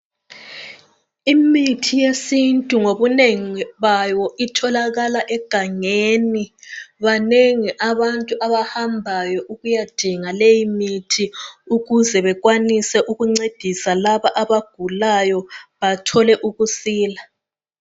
Imithi yesintu ngobunengi bayo itholakala egangeni, banengi abantu abahambayo ukuyadinga leyimithi ukuze bekwanise ukuncedisa laba abagulayo bathole ukusila.